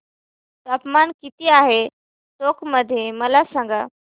तापमान किती आहे टोंक मध्ये मला सांगा